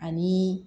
Ani